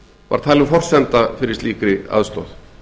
var sett sem skilyrði fyrir slíkri aðstoð